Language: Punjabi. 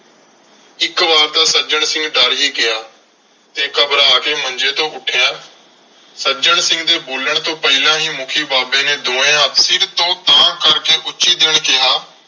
ਇਕ ਵਾਰ ਤਾਂ ਸੱਜਣ ਸਿੰਘ ਡਰ ਹੀ ਗਿਆ ਤੇ ਘਬਰਾ ਕੇ ਮੰਜੇ ਤੋਂ ਉੱਠਿਆ। ਸੱਜਣ ਸਿੰਘ ਦੇ ਬੋਲਣ ਤੋਂ ਪਹਿਲਾਂ ਹੀ ਮੁੱਖੀ ਬਾਬੇ ਨੇ ਦੋਵੇਂ ਹੱਥ ਸਿਰ ਤੋਂ ਤਾਂਹ ਕਰਕੇ ਉੱਚੀ ਜਿਹੇ ਕਿਹਾ।